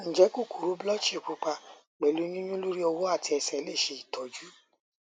nje kokoro blutchy pupa pelu yinyun lori owo ati ese lese itoju